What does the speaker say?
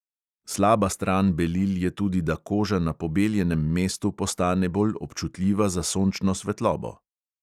Slaba stran belil je tudi, da koža na pobeljenem mestu postane bolj občutljiva za sončno svetlobo.